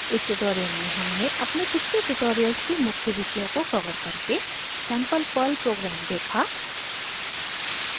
इस ट्यूटोरियल में हमने अपने पिछले ट्यूटोरियल्स के मुख्य विषयों को कवर करके सैंपल पर्ल प्रोग्राम देखा